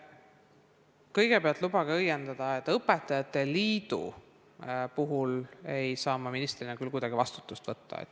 Kõigepealt lubage öelda, et õpetajate liidu puhul ei saa ma ministrina küll kuidagi vastutust võtta.